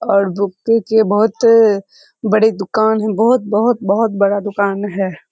और बुक के बहुत बड़ी दुकान है बहुत बहुत बहुत बड़ा दुकान है।